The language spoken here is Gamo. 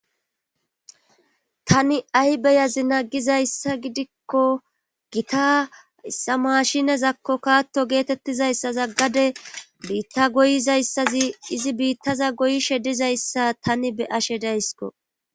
tani ay beyazi nagizayssa gidikko gitayssa mashinezakko kaatto geetettizayssaza gade biitta goyizayssazi izi biittaza goyishe dizayssa tani be ashe daysko